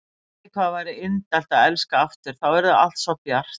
Æ, hvað það væri indælt að elska aftur, þá yrði allt svo bjart.